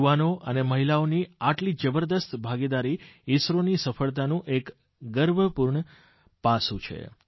યુવાનો અને મહિલાઓની આટલી જબરદસ્ત ભાગીદારી ઇસરોની સફળતાનું એક ગર્વપૂર્ણ પાસું છે